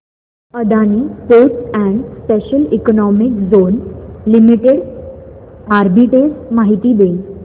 Adani ports and special economic zone limited arbitrage माहिती दे